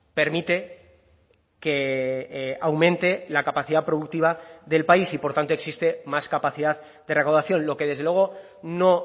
permite que aumente la capacidad productiva del país y por tanto existe más capacidad de recaudación lo que desde luego no